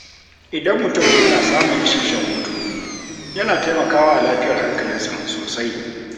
Idan mutum yana samun isasshen hutu, yana taimakawa lafiyar hankalinsa sosai.